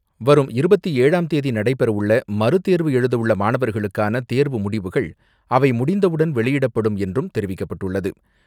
வரும் இருபத்தி ஏழாம் தேதி நடைபெறவுள்ள மறு தேர்வு எழுதவுள்ள மாணவர்களுக்கான தேர்வு முடிவுகள் அவை முடிந்தவுடன் வெளியிடப்படும் என்றும் தெரிவிக்கப்பட்டுள்ளது.